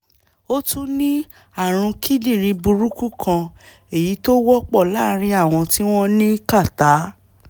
ó tún ní ààrùn kíndìnrín burúkú kan èyí tó wọ́pọ̀ láàárín àwọn tí wọ́n ní kàtá